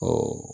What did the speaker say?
Ɔ